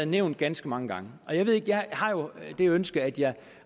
nævnt ganske mange gange jeg har jo det ønske at jeg